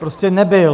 Prostě nebyl.